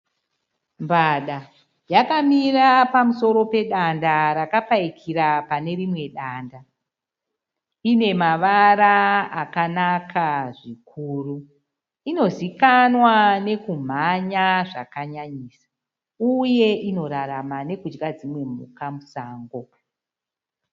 Mbada yakamira pamusoro pedanda rakapayikira pane rimwe danda, ine mavara akanaka zvikuru, inozikanwa nokumhanya zvakanyanyisa uye inorarama nekudya dzimwe mhuka musango.